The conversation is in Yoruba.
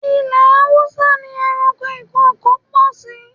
Ilẹ̀ Haúsá ni ẹranko ìkokò pọ̀ sí.